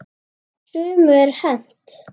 Sumu er hent.